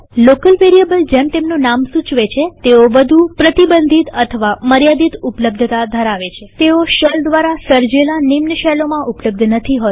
local વેરીએબલજેમ તેમનું નામ સૂચવે છે તેઓ વધુ પ્રતિબંધિત અથવા મર્યાદિત ઉપલબ્ધતા ધરાવે છે તેઓ શેલ દ્વારા સર્જેલા નિમ્ન શેલોમાં ઉપલબ્ધ નથી હોતા